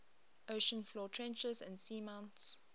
ocean floor trenches and seamounts